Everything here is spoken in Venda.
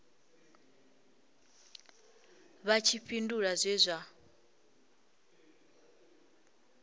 vha tshi fhindula zwe zwa